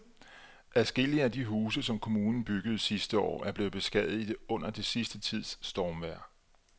Adskillige af de huse, som kommunen byggede sidste år, er blevet beskadiget under den sidste tids stormvejr.